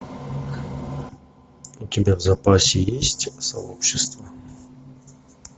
у тебя в запасе есть сообщество